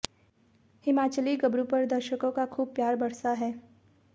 हिमाचली गबरू पर दर्शकों का खूब प्यार बरसा है